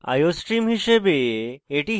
iostream হিসাবে এটি header file